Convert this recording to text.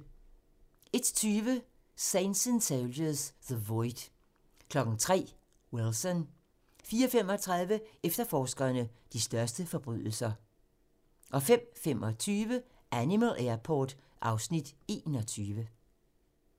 01:20: Saints and Soldiers - The Void 03:00: Wilson 04:35: Efterforskerne - de største forbrydelser 05:25: Animal Airport (Afs. 21)